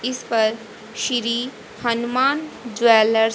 इस पर श्री हनुमान ज्वेलर्स --